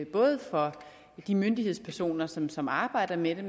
både for de myndighedspersoner som som arbejder med